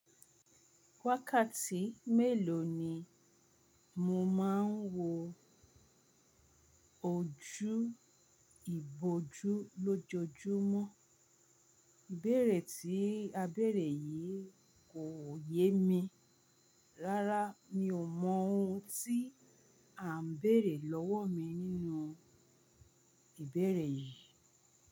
Wákàtí mélòó ni mo máa ń wo ojú ìbòjú lójoojúmọ́? Ibeere ti a bere yi ko ye mi rárá, mi ò mọ ohun tí à ń bèrè lọ́wọ́ mi nínú ìbèrè yìí.